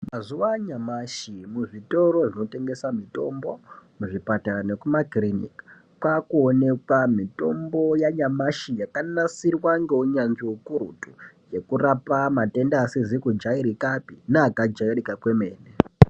Mazuvanyamashe, muzvitoro zvinotengesa mitombo, muzvipatara nekumakirinika, kwakuwonekwa mitombo yanyamashi yakanasirwa ngowunyanzvi wukurutu. Yekurapa matenda asizikujayirikape ne akajayirika kwemene.